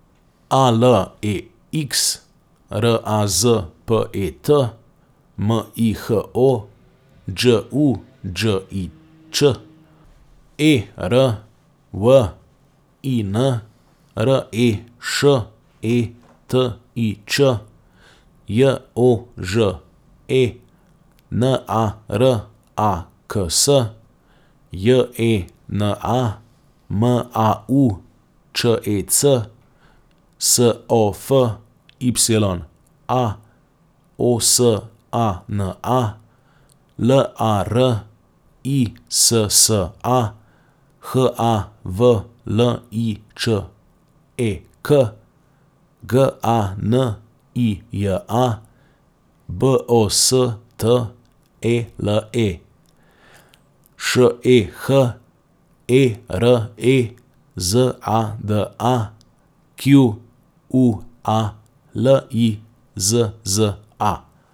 A L E X, R A Z P E T; M I H O, Đ U Đ I Ć; E R W I N, R E Š E T I Č; J O Ž E, N A R A K S; J E N A, M A U Č E C; S O F Y A, O S A N A; L A R I S S A, H A V L I Č E K; G A N I J A, B O S T E L E; Š E H E R E Z A D A, Q U A L I Z Z A.